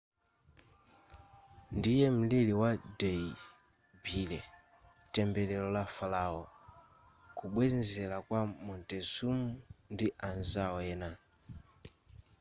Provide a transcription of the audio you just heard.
ndiye mlili wa dehli belly tembelero la farao kubwenzela kwa montezum ndi anzao ena